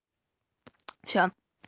всё